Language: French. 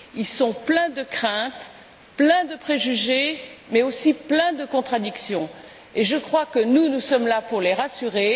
Ils sont pleins de craintes, pleins de préjugés mais aussi pleins de contradictions et nous sommes là pour les rassurer.